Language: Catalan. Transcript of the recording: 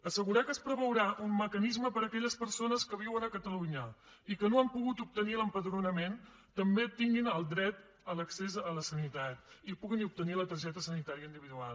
assegurar que es preveurà un mecanisme perquè aquelles persones que viuen a catalunya i que no han pogut obtenir l’empadronament també tinguin el dret a l’accés a la sanitat i puguin obtenir la targeta sanitària individual